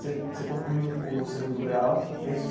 você você concluiu o segundo grau, é isso?